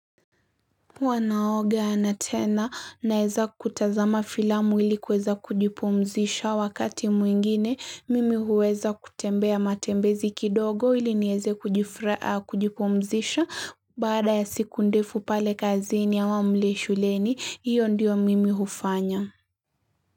Huwa naoga na tena naweza kutazama filamu ili kuweza kujipumzisha wakati mwingine mimi huweza kutembea matembezi kidogo ili niweze kujipumzisha Baada ya siku ndefu pale kazini ama mle shuleni hiyo ndiyo mimi hufanya.